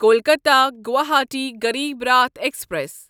Kolkata Guwahati Garib Rath express